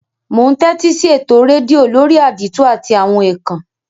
Mo n tẹ́tísí eto redio lórí àdìtú àti àwon ékán